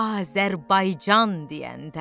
Azərbaycan deyəndə.